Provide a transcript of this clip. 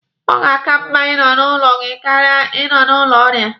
Ọ ga-aka mma Ị nọ n'ụlọ gị karịa Ị nọ n'ụlọ ọrịa.